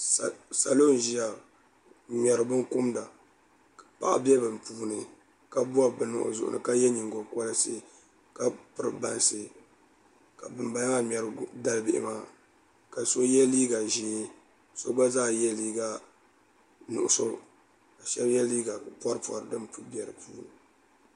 Salo n ʒiya n ŋmɛri bin kumda paɣa bɛ bi puuni ka bob bini o zuɣu ni ka yɛ nyingokoriti ka piri bansi ka bin bala maa ŋmɛri dalibihi maa ka so yɛ liiga ʒiɛ so gba zaa yɛla liiga nuɣso ka shab yɛ liiga pori pori din bɛ di puuni